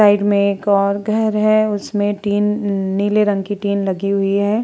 Side में एक और घर है उसमें टीन नीले रंग की टीन लगी हुई हैं।